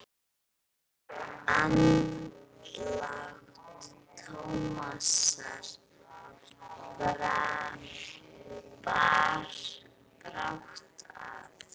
Andlát Tómasar bar brátt að.